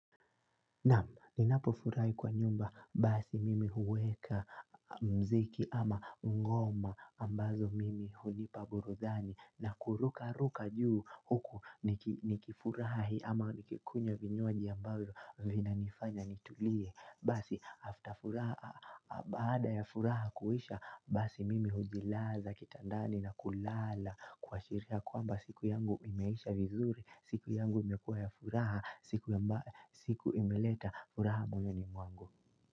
Naam ninapofurahi kwa nyumba basi mimi huweka mziki ama ngoma ambazo mimi hulipa burudani na kuruka ruka juu huku nikifurahi ama nikikunywa vinywaji ambavyo vina nifanya nitulie basi after furaha baada ya furaha kuisha basi mimi hujilaza kitandani na kulala kuashiria kwamba siku yangu imeisha vizuri siku yangu imekuwa ya furaha. Siku imeleta furaha moyoni mwangu.